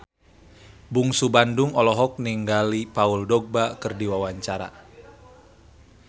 Bungsu Bandung olohok ningali Paul Dogba keur diwawancara